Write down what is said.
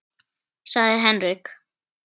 sagði Henrik.